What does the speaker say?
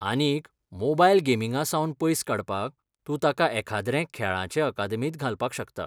आनीक, मोबायल गेमींगासावन पयस काडपाक, तूं ताका एखाद्रे खेळांचे अकादेमींत घालपाक शकता.